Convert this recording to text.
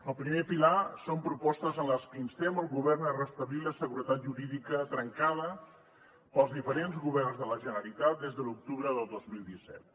el primer pilar són propostes en les que instem el govern a restablir la seguretat jurídica trencada pels diferents governs de la generalitat des de l’octubre de dos mil disset